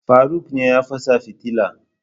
faruk ne ya fasa fitila